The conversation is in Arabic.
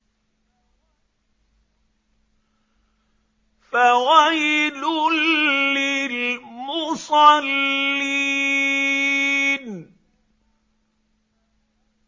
فَوَيْلٌ لِّلْمُصَلِّينَ